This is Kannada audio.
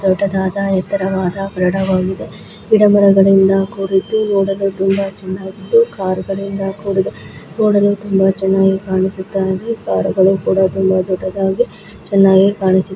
ದೊಡ್ಡದಾದ ಯೇತರದವದ ಪಾರದ ವಾಗಿದೆ ಗಿಡ ಮರಗಳಿಂದ ಕೂಡಿದ್ದು ನೋಡಲು ತುಂಬಾ ಚೆನ್ನಾಗಿದ್ದು ಪಾರದ ದಿಂದ ಕೂಡಿದೆ ನೋಡಲು ತುಂಬಾ ಚೆನ್ನಾಗಿ ಕಾಣಿಸುತ್ತಿರುವ ಇದೆ ತುಂಬಾ ಎತ್ತರವಾಗಿ --